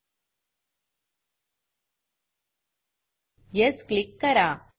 yes click करा